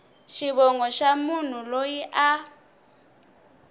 xivongo xa munhu loyi a